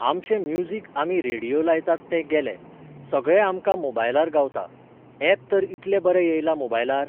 आमचें म्युजीक आमी रेडियो लायताले तें गेलें. सगळें आमकां मोबायलार गावता. ऍप तर इतलें बरें येयलां मोबायलार!